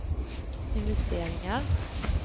investeringar